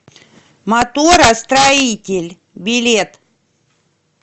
моторостроитель билет